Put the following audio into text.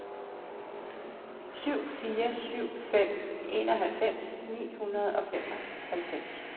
syv fire syv fem enoghalvfems ni hundrede og femoghalvfems